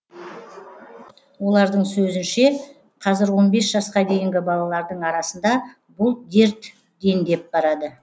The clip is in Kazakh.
олардың сөзінше қазір он бес жасқа дейінгі балалардың арасында бұл дерт дендеп барады